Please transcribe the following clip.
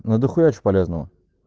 надо хуять в полезного